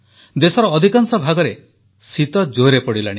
ଦେଶର ଅଧିକାଂଶ ଭାଗରେ ଶୀତ ଜୋର୍ରେ ପଡିଲାଣି